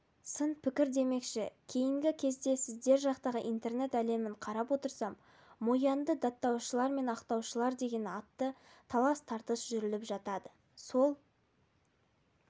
сын-пікір демекші кейінгі кезде сіздер жақтағы интернет әлемін қарап отырсам мо янды даттаушылар мен ақтаушылар деген қатты талас-тартыс жүріліп жатады сол